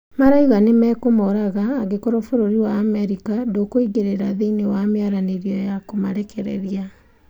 Marauga mekumoraga ingekorwo bururi wa America ĩtĩkũingĩrĩra thĩĩinĩ wa mĩaranĩrio ya kũmarerekereria